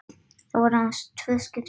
Þetta voru aðeins tvö skipti.